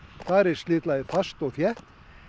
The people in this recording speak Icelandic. þar er slitlagið fast og þétt